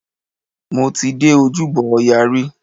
Mo ti dé Ojúbọ ọya rí.